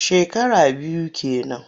Shekara biyu ke nan.